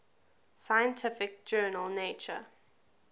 scientific journal nature